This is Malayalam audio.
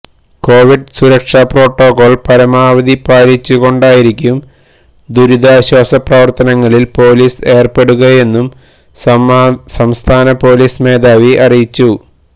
കൊവിഡ് സുരക്ഷാ പ്രോട്ടോകോള് പരമാവധി പാലിച്ചുകൊണ്ടായിരിക്കും ദുരിതാശ്വാസ പ്രവര്ത്തനങ്ങളില് പോലിസ് ഏര്പ്പെടുകയെന്നും സംസ്ഥാന പോലിസ് മേധാവി അറിയിച്ചു